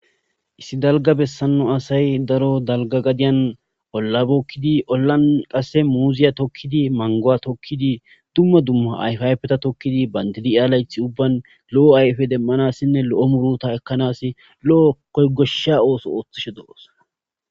issi dalga bessanno asay daro dalga gadiyan ollabokkidi ollan qasse muuziya tokkidi mangowa tokkidi dumma dumma ayfayfeta tokkidi bandidia layth ubban lo7o ayfe demmanassinne lo7o muruta ekkanas lo7o koygoshsha ooso ooththishe do7os